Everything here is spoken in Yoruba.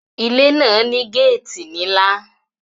Ilé náà ní gáàtì nílá